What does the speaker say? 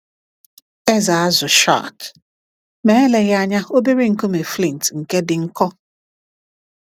Ezé azụ shark? Ma eleghị anya, obere nkume flint nke dị nkọ?